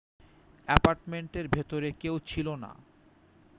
অ্যাপার্টমেন্টের ভেতরে কেউ ছিল না